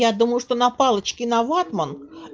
я думаю что на палочке на ватман